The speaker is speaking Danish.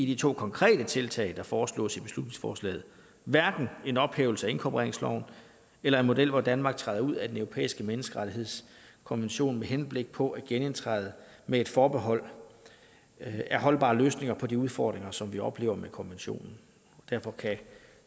de to konkrete tiltag der foreslås i beslutningsforslaget hverken en ophævelse af inkorporeringsloven eller en model hvor danmark træder ud af den europæiske menneskerettighedskonvention med henblik på at genindtræde med et forbehold er holdbare løsninger på de udfordringer som vi oplever med konventionen derfor kan